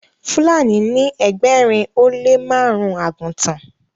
Fúlàní ní ẹgbẹrin o le marun àgùtàn